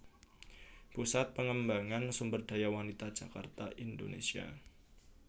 Pusat Pengembangan Sumberdaya Wanita Jakarta Indonesia